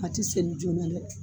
A ti senni joona dɛ